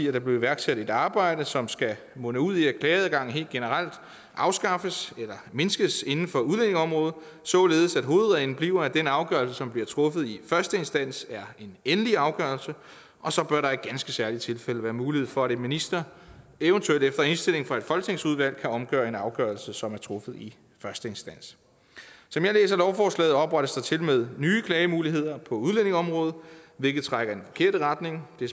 at der blev iværksat et arbejde som skulle munde ud i at klageadgangen helt generelt afskaffes eller mindskes inden for udlændingeområdet således at hovedreglen bliver at den afgørelse som bliver truffet i første instans er en endelig afgørelse og så bør der i ganske særlige tilfælde være mulighed for at en minister eventuelt efter indstilling fra et folketingsudvalg kan omgøre en afgørelse som er truffet i første instans som jeg læser lovforslaget oprettes der til og med nye klagemuligheder på udlændingeområdet hvilket trækker i den forkerte retning det